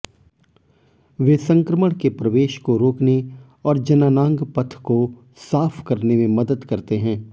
वे संक्रमण के प्रवेश को रोकने और जननांग पथ को साफ मदद करते हैं